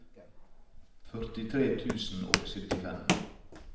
førtitre tusen og syttifem